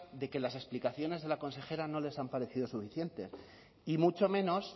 de que las explicaciones de la consejera no les han parecido suficiente y mucho menos